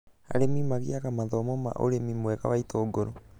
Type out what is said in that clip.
Arĩmi magĩaga mathomo ma ũrĩmi mwega wa itũngũrũ